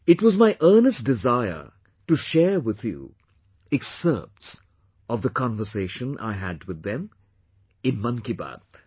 It was my earnest desire to share with you excerpts of the conversation I had with them, in Mann ki Baat